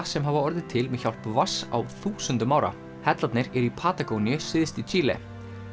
sem hafa orðið til með hjálp vatns á þúsundum ára hellarnir eru í syðst í Síle